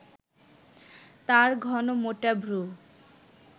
তাঁর ঘন মোটা ভ্রু